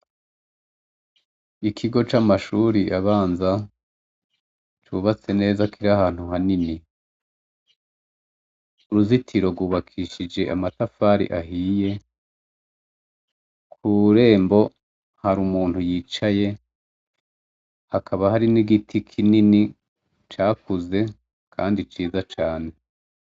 Ikigo c'amashuri abanza, cubatse neza kiri ahantu hanini. Uruzitiro rwubakishije amatafari ahiye, kurembo hari umuntu yicaye hakaba hari n'igiti kinini cakuze kandi ciza cane.